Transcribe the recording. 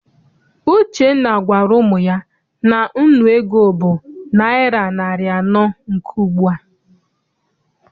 Uchenna gwara ụmụ ya na nnu ego bụ naịra narị anọ nke ugbua.